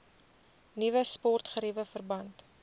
nuwe sportgeriewe verband